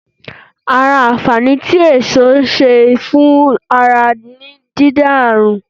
Ara àǹfààní tí èso ń ṣe fún ara ni, dídènà ààrùn